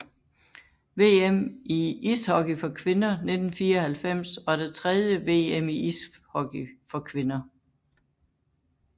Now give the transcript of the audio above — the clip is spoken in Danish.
VM i ishockey for kvinder 1994 var det tredje VM i ishockey for kvinder